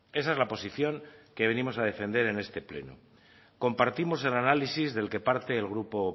esa es la posición que venimos a defender en este pleno compartimos el análisis del que parte el grupo